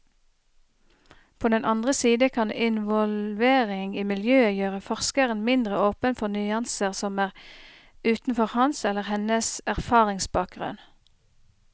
På den andre side kan involvering i miljøet gjøre forskeren mindre åpen for nyanser som er utenfor hans eller hennes erfaringsbakgrunn.